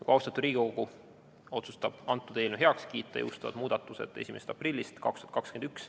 Kui austatud Riigikogu otsustab eelnõu heaks kiita, siis jõustuvad muudatused 1. aprillist 2021.